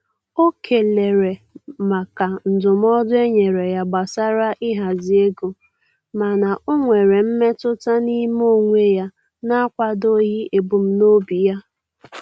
O kelere maka ndụmọdụ e nyere ya gbasara ịhazi ego, mana o nwere mmetụta n'ime onwe ya na-akwadoghị ebumnobi ya.